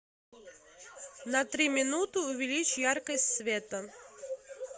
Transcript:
на три минуты увеличь яркость света